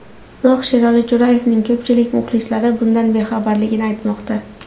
Biroq Sherali Jo‘rayevning ko‘pchilik muxlislari bundan bexabarligini aytmoqda.